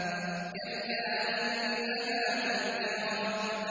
كَلَّا إِنَّهَا تَذْكِرَةٌ